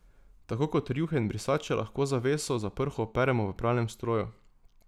Tako kot rjuhe in brisače lahko zaveso za prho operemo v pralnem stroju.